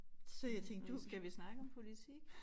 Øh skal vi snakke om politik?